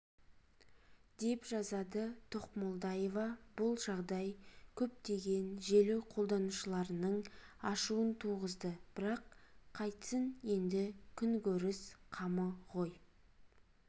деп жазады тоқмолдаева бұл жағдай көптеген желі қолданушыларының ашуын туғызды бірақ қайтсін енді күнкөріс қамы ғой